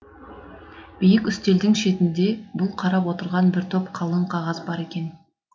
биік үстелдің шетінде бұл қарап отырған бір топ қалың қағаз бар екен